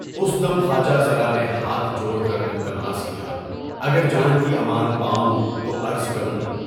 اُس دم خواجہ سرا نے ہاتھ جوڑ کر التماس کیا، اگر جان کی امان پائوں تو عرض کروں۔